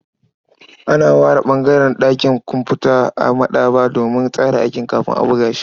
An ware ɓangaren ɗakin kumfuta a maɗaba'a domin tsara aiki kafin a buga shi.